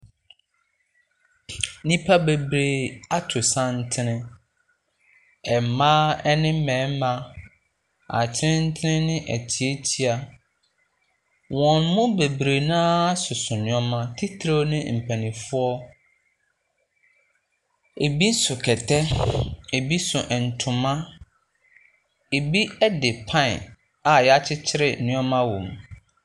Nnipa bebree ato santene. Mmaa ne mmarima, atenten ne atiatia, wɔn mu bebree no ara soso nneɛma, titire ne mpanimfoɔ. Ɛbi so kɛtɛ. Ɛbi so ntoma, ɛbi de pan a wɔakyekyere nneɛma wɔ mu.